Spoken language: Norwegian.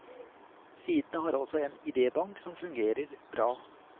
Sidene har også en idébank som fungerer bra.